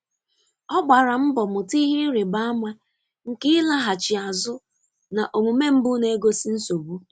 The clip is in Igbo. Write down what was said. Ọ gbara mbọ mụta ihe ịrịba ama nke ịlaghachi azụ na omume mbụ na-egosi nsogbu.